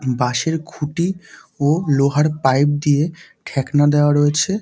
বাঁশের খুটি ও লোহার পাইপ দিয়ে ঠ্যাকনা দেওয়া রয়েছে।